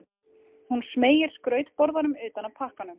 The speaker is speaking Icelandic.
Hún smeygir skrautborðanum utan af pakkanum.